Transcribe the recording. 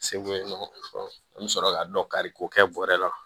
Segu yen nɔ an bɛ sɔrɔ ka dɔ kari k'o kɛ bɔrɛ la